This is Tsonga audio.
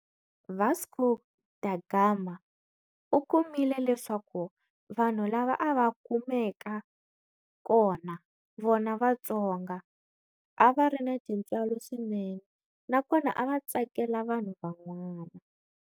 Vasco Da Gama u kumile leswaku vanhu lava a va kumeka kona, vona Vatsonga, a va ri na tintswalo swinene na kona a va tsakela vanhu van'wana.